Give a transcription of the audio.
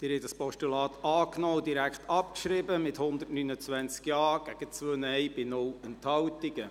Sie haben das Postulat angenommen und direkt abgeschrieben, mit 129 Ja- gegen 2 NeinStimmen bei 0 Enthaltungen.